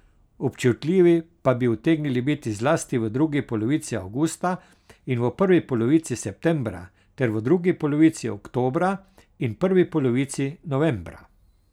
Občutljivi pa bi utegnili biti zlasti v drugi polovici avgusta in prvi polovici septembra ter v drugi polovici oktobra in prvi polovici novembra.